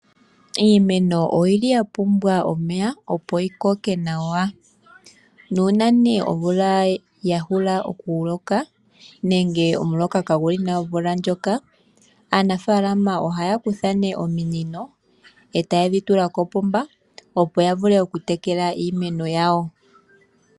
Iimeno oyili ya pumbwa omeya opo yi koke nawa. Nuuna nee omumvula ya hula oku loka nenge omuloka kaa guli nawa omvula ndjoka aanafalama ohaya kutha nee ominino etaye dhi tula kopomba opo ya vule oku tekela iimeno yawo.